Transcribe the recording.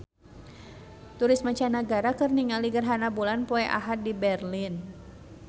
Turis mancanagara keur ningali gerhana bulan poe Ahad di Berlin